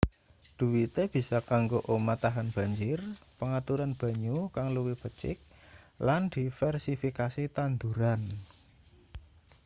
dhuwite bisa kanggo omah tahan banjir pengaturan banyu kang luwih becik lan diversifikasi tanduran